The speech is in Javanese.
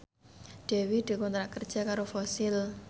Dewi dikontrak kerja karo Fossil